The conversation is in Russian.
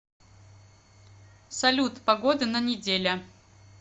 салют погоды на неделя